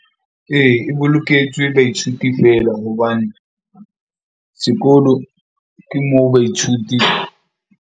Ee, e boloketswe baithuti fela hobane sekolo, ke moo baithuti.